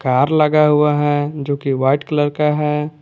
Car लगा हुआ है जो कि व्हाइट कलर का है।